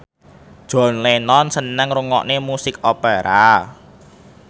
John Lennon seneng ngrungokne musik opera